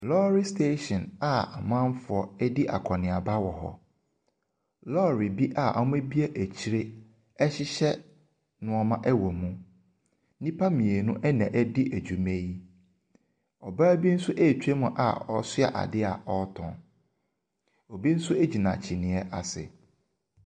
Lɔɔre station a amanfoɔ redi akɔneaba wɔ hɔ. Lɔɔre bi a wɔabue akyire rehyehyɛ nneɛma wɔ mu. Nnipa mmienu na wɔredi dwuma yi. Ɔbaa bi nso retwam a ɔso adeɛ a ɔretɔn. Obi nso gyina kyiniiɛ ase.